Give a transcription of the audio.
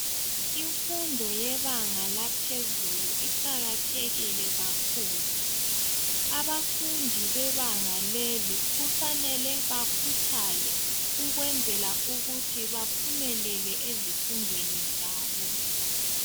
Imfundo yebanga laphezulu iqakathekile kakhulu, abafundi bebanga leli kufanele bakhuthale ukuze baphumelele ezifundweni zabo.